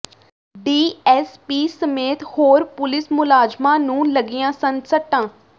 DSP ਸਮੇਤ ਹੋਰ police ਮੁਲਾਜ਼ਮਾਂ ਨੂੰ ਲੱਗੀਆਂ ਸਨ ਸੱਟਾਂ